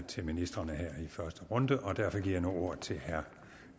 til ministrene her i første runde og derfor giver jeg nu ordet til herre